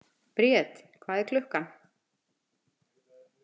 Briet, hvað er klukkan?